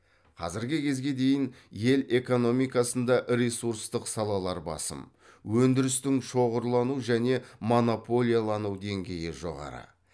қазіргі кезге дейін ел экономикасында ресурстық салалар басым өндірістің шоғырлану және монополиялану деңгейі жоғары